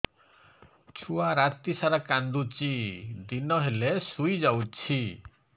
ଛୁଆ ରାତି ସାରା କାନ୍ଦୁଚି ଦିନ ହେଲେ ଶୁଇଯାଉଛି